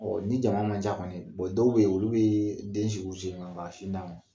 ni jama man ca kɔni, dɔw be ye, olu bee den sigi u sen kan ka sin d'a ma.